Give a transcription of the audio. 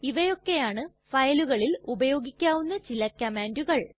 ഇവയൊക്കെയാണ് ഫയലുകളിൽ ഉപയോഗിക്കാവുന്ന ചില കംമാണ്ടുകൾ